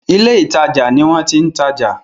ilé ìtajà ní wón ti ń tadò